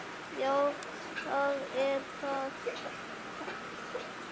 Já, það er það